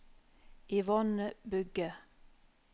Yvonne Bugge